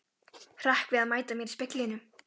Hrekk við að mæta mér í speglinum.